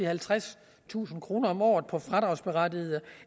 halvtredstusind kroner om året på fradragsberettigede